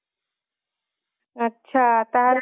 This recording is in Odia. ଆଚ୍ଛା ତାହେଲେ